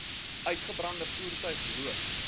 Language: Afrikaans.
uitgebrande voertuig loop